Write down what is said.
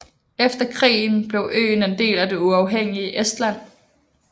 Efter krigen blev øen en del af det uafhængige Estland